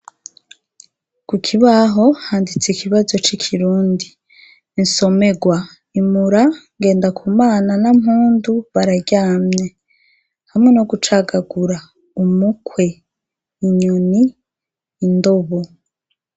Ku kibaho handitse ikibazo c'Ikirundi : Insomerwa: "Imura : Ngendakumana na Mpundu bararyamye ", hamwe no gucagagura: " Umukwe, Inyoni, Indobo ".